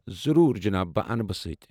ضروٗر، جناب! بہٕ انہٕ بہٕ سۭتی ۔